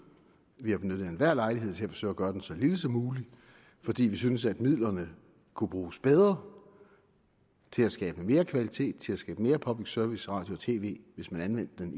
vi har benyttet enhver lejlighed til at forsøge at gøre den så lille som muligt fordi vi synes at midlerne kunne bruges bedre til at skabe mere kvalitet til at skabe mere public service radio og tv hvis man anvendte